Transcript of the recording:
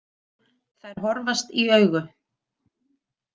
Þær horfast í augu.